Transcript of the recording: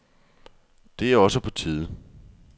Det er også på tide.